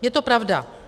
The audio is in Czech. Je to pravda.